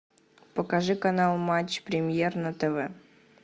покажи канал матч премьер на тв